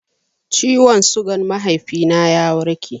Ciwon sugan mahaifi na ya warke